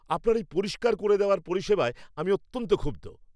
আপনার এই পরিষ্কার করে দেওয়ার পরিষেবায় আমি অত্যন্ত ক্ষুব্ধ।